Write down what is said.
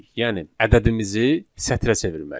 Yəni ədədimizi sətrə çevirməliyik.